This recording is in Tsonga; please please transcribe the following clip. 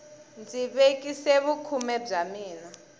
ndzi vekisa vukhume bya mina